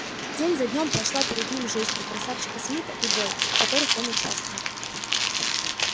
день за днём прошла перед ним жизнь у красавчика смита и бой в которых он участвовал